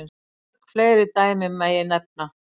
Mörg fleiri dæmi megi nefna.